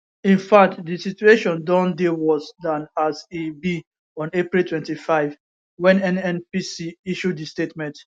in fact di situation don dey worse dan as e be on april 25 wen nnpc issue di statement